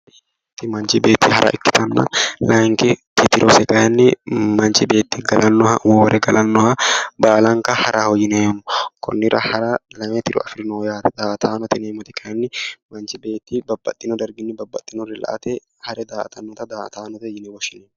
Hara Manchi beetti hara ikkitanna layenkiti tirose kayiinni manchi beetti galannoha hoowire galannoha baalanka haraho yineemmo konnira hara lame tiro afirinoho yaate daa"atanote yineemmoti kayiinni manchi beetti babbbaxxino darginni babbaxxinore la"ate hare daa"atannota daa"ataanote yine woshshinanni